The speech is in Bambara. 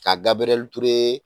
K kaa dabliure